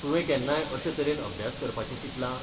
तुवें केन्नाय अशे तरेन अभ्यास करपाचें चिंतलां?